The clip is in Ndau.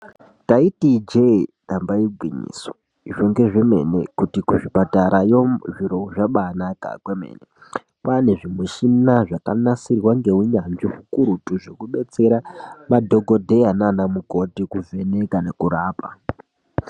Taiti ijee damba igwinyiso izvo ngezvemene kuti kuzvipatarayo zviro zvabanaka kwemene kwanezvi mushina zvakanasirwa ngeunyanzvi ukurutu zvokudetsera madhokodheya nanamukoti kuvheneka nekurapa.